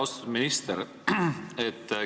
Austatud minister!